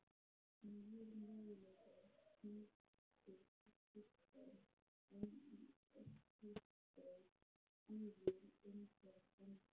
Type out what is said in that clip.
nýir möguleikar týndir stúlkan enn í öskustó stígur engan dansinn